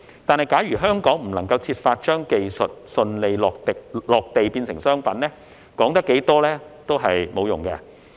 但是，假如香港未能設法將技術順利落地變成商品，說得再多也沒有用。